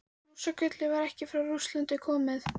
Rússagullið var ekki frá Rússlandi komið.